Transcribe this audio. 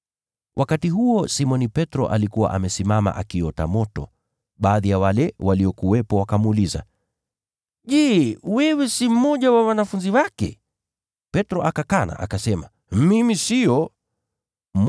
Wakati huo Simoni Petro alikuwa amesimama akiota moto. Baadhi ya wale waliokuwepo wakamuuliza, “Je, wewe si mmoja wa wanafunzi wake?” Petro akakana, akasema, “Sio mimi.”